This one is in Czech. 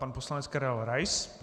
Pan poslanec Karel Rais.